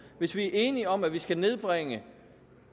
hvis vi er enige om at vi skal nedbringe